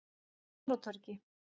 Smáratorgi